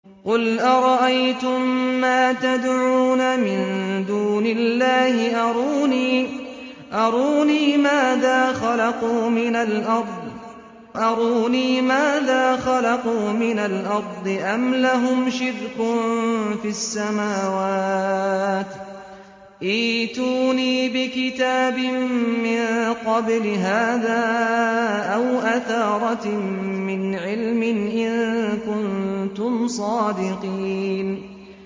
قُلْ أَرَأَيْتُم مَّا تَدْعُونَ مِن دُونِ اللَّهِ أَرُونِي مَاذَا خَلَقُوا مِنَ الْأَرْضِ أَمْ لَهُمْ شِرْكٌ فِي السَّمَاوَاتِ ۖ ائْتُونِي بِكِتَابٍ مِّن قَبْلِ هَٰذَا أَوْ أَثَارَةٍ مِّنْ عِلْمٍ إِن كُنتُمْ صَادِقِينَ